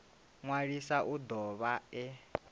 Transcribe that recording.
ṅwalisa u do vha e